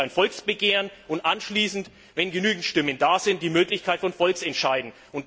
Hier gibt es ein Volksbegehren und anschließend, wenn genügend Stimmen da sind, die Möglichkeit von Volksentscheiden.